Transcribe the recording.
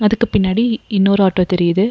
அதுக்கு பின்னாடி இன்னொரு ஆட்டோ தெரியிது.